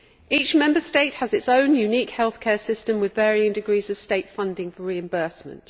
Each Member State has its own unique healthcare system with varying degrees of state funding for reimbursement.